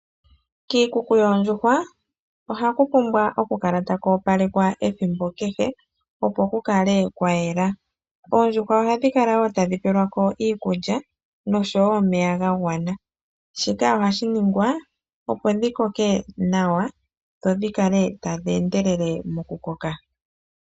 Kiikuku yoondjuhwa oha ku pumbwa oku kala taku opalekwa ethimbo kehe opo ku kale kwa yela. Oondjuhwa oha dhi kala wo tadhi pelwa ko iikulya nosho wo omeya ga gwana. Shika ohashi ningwa opo dhi koke nawa dho dhi kale tadhi endelele nawa mo kukoka.